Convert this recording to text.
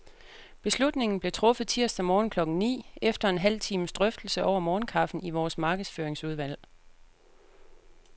Beslutningen blev truffet tirsdag morgen klokken ni, efter en halv times drøftelse over morgenkaffen i vores markedsføringsudvalg.